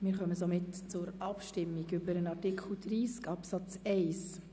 Wir kommen somit zur Abstimmung über den Artikel 30 Absatz 1.